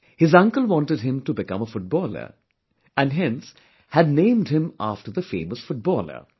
His uncle wanted him to become a footballer, and hence had named him after the famous footballer